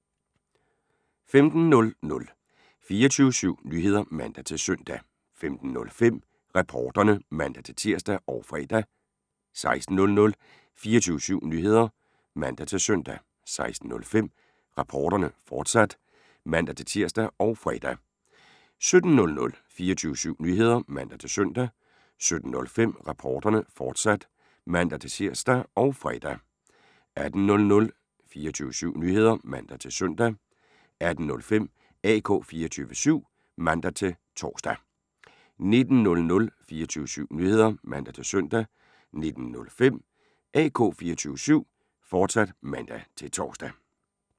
15:00: 24syv Nyheder (man-søn) 15:05: Reporterne (man-tir og fre) 16:00: 24syv Nyheder (man-søn) 16:05: Reporterne, fortsat (man-tir og fre) 17:00: 24syv Nyheder (man-søn) 17:05: Reporterne, fortsat (man-tir og fre) 18:00: 24syv Nyheder (man-søn) 18:05: AK 24syv (man-tor) 19:00: 24syv Nyheder (man-søn) 19:05: AK 24syv, fortsat (man-tor)